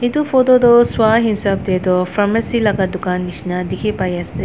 etu photo toh sua hisab teh toh pharmacy laga dukan nisna dikhi pai ase.